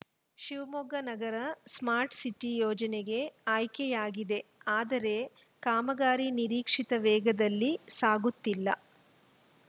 ಶಿವಮೊಗ್ಗ ನಗರ smart city ಯೋಜನೆಗೆ ಆಯ್ಕೆಯಾಗಿದೆ ಆದರೆ ಕಾಮಗಾರಿ ನಿರೀಕ್ಷಿತ ವೇಗದಲ್ಲಿ ಸಾಗುತ್ತಿಲ್ಲ